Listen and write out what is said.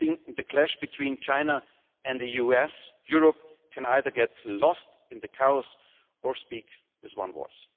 Standing in the clash between China and the US, Europe can either get lost in the chaos or speak with one voice.